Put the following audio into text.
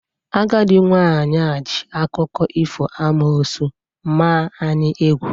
Agadi nwanyi ji akuko ifo amoosu maa anyi egwu